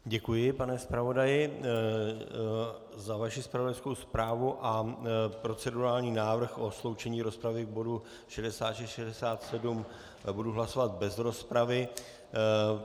Děkuji, pane zpravodaji, za vaši zpravodajskou zprávu a procedurální návrh o sloučení rozpravy k bodu 66 a 67 budu hlasovat bez rozpravy.